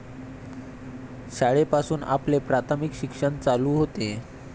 शाळेपासून आपले प्राथमिक शिक्षण चालू होते.